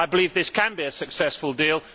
I believe this can be a successful deal.